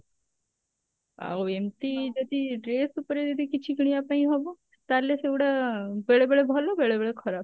ଆଉ ଏମତି ଯଦି dress ଉପରେ ଯଦି କିଛି କିଣିବା ପାଇଁ ହବ ତାହେଲେ ସେଗୁଡା ବେଳେ ବେଳେ ଭଲ ବେଳେ ବେଳେ ଖରାପ